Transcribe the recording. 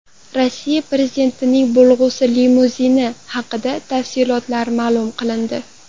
Rossiya prezidentining bo‘lg‘usi limuzini haqidagi tafsilotlar ma’lum qilindi.